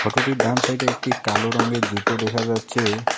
ফটোটির ডান সাইড -এ একটি কালো রঙের জুতো দেখা যাচ্ছে।